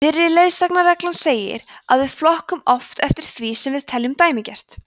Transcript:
fyrri leiðsagnarreglan segir að við flokkum oft eftir því sem við teljum dæmigert